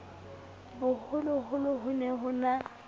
boholoholo ho ne ho na